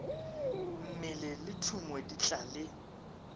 mmele le thumo di tlale